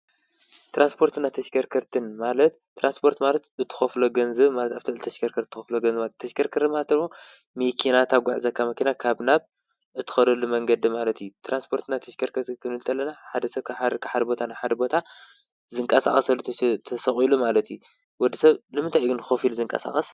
ትራንስፖርትን ተሽከርከርትን ማለት፣ ትራንስፖርት ማለት እትኸፍሎ ገንዝብ ማለት ኣፍቲ ተሽከርከር እትኸፍሎ ገንዝብ ተሽከርከረ ማለት ደሞ ሚኪና ተጉዕዘካ መኪና ካብ ናብ እትኸደሉ መንገዲ ማለቱ እዩ። ትራንስፖርትና ተሽከርከርት ክንብል እንተለና ሓደ ሰብ ካብ ሓድ ቦታ ናብ ሓድ ቦታ ዝንቀሳቐሰሉ ተሰቂሉ ማለቱ እዩ። ወዲ ሰብ ንምንታይ እዩ ግን ከፊሉ ዝንቀሳቀስ?